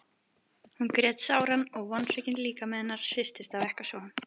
Hún grét sáran og vonsvikinn líkami hennar hristist af ekkasogum.